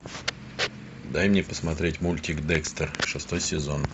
дай мне посмотреть мультик декстер шестой сезон